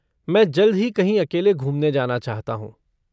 मैं जल्द ही कहीं अकेले घूमने जाना चाहता हूँ।